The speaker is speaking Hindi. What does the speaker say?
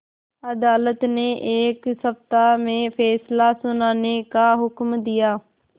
अदालत ने एक सप्ताह में फैसला सुनाने का हुक्म दिया